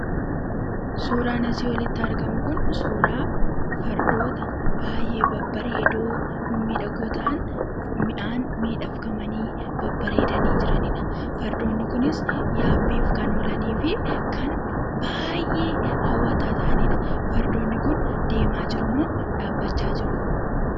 Suuraan asii olitti argamu kun suuraa fardoota baay'ee babbareedoo mimmiidhagoo ta'an mi'aan miidhagfamanii babbareedanii jiranidha. Fardoonni kunis yaabbiif kan oolanii fi kan baay'ee hawwataa ta'anidha. Fardoonni kun deemaa jirumoo dhaabbachaa jiruu?